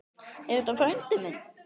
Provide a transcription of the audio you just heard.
Er þetta frændi minn?